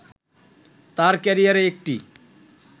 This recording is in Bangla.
তার ক্যারিয়ারে একটি